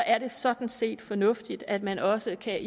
er det sådan set fornuftigt at man også kan